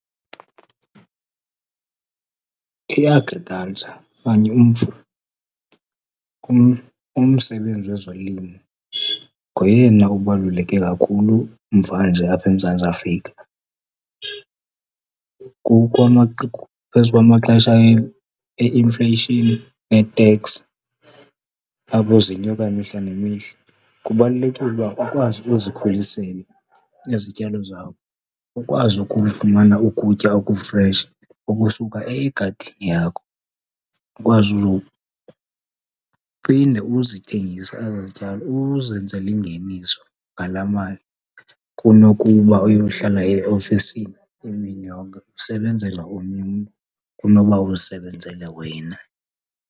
I-agriculture okanye umsebenzi wezolimo ngoyena ubaluleke kakhulu mvanje apha eMzantsi Afrika. As uba amaxesha e-inflation neteks apho zenyuka imihla nemihla, kubalulekile uba ukwazi ukuzikhulisela izityalo zakho, ukwazi ukufumana ukutya okufresh okusuka egadini yakho. Ukwazi uzophinde uzithengise ezaa zityalo, uzenzele ingeniso ngalaa mali, kunokuba uyohlala eofisini imini yonke usebenzela omnye umntu kunoba uzisebenzele wena.